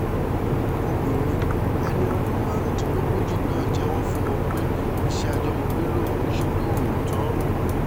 obìnrin ẹni ọdún márùndínlógójì náà jẹ́wọ́ fún wọn pé iṣẹ́ àjọmọ̀gbé lòun ń ṣe lóòótọ́